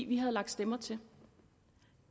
vi havde lagt stemmer til